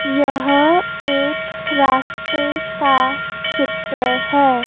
यहां एक रास्ते का चित्र है।